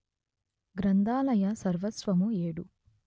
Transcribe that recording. గ్రంథాలయ సర్వస్వము ఏడు